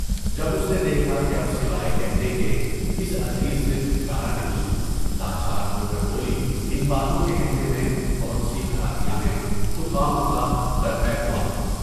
جب اس نے دیکھا کہ اب سوائے کہنے کے، اس عزیز سے چھٹکارا نہیں، لاچار ہو کر بولی ان باتوں کے کہنے میں بہت سی خرابیاں ہیں، تو خواہ مخواہ درپے ہوا۔